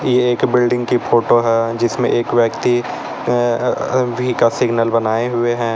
यह एक बिल्डिंग की फोटो है जिसमें एक व्यक्ति वी का सिग्नल बनाए हुए हैं।